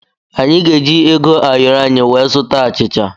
Anyị ga-eji ego ayọrọ anyị wee zụta achịcha.